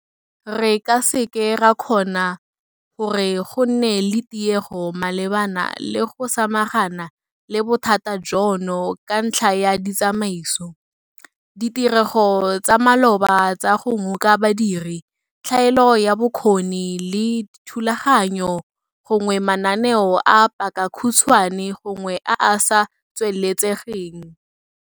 Re ka se ke ra kgona gore go nne le tiego malebana le go samagana le bothata jono ka ntlha ya ditsamaiso, ditirego tsa maloba tsa go ngoka badiri, tlhaelo ya bokgoni le dithulaganyo, gongwe mananeo a pakakhutshwane gongwe a a sa tsweletsegeng.